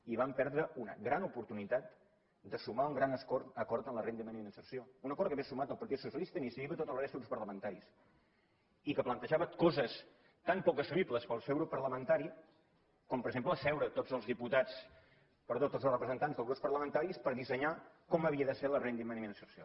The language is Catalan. i vam perdre una gran oportunitat de sumar un gran acord en la renda mínima d’inserció un acord que hauria sumat el partit socialista iniciativa i tota la resta de grups parlamentaris i que plantejava coses tan poc assumibles pel seu grup parlamentari com per exemple asseure tots els representants dels grups parlamentaris per dissenyar com havia de ser la renda mínima d’inserció